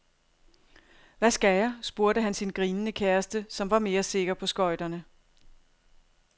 Hvad skal jeg, spurgte han sin grinende kæreste, som var mere sikker på skøjterne.